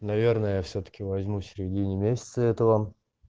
наверное всё таки возьму середине месяца это вам